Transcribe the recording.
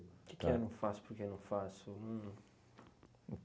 O que que é não faço porque não faço? Um...